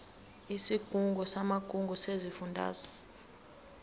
isigungu samagugu sesifundazwe